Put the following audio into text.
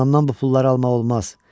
Anamdan bu pulları almaq olmaz.